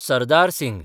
Sardar Singh